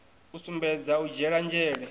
u sumbedza u dzhiela nzhele